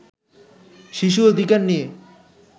শিশু অধিকার নিয়ে